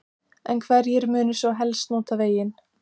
En hverjir munu svo helst nota veginn?